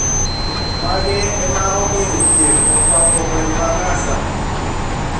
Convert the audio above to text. Magi ema omiyo dhier okwako gweng` ma Gaza